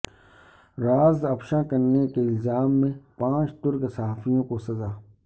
راز افشا کرنے کے الزام میں پانچ ترک صحافیوں کو سزا